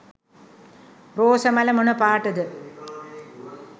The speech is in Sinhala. රෝස මල මොන පාට ද?